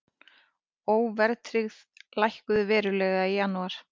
Óverðtryggð lækkuðu verulega í janúar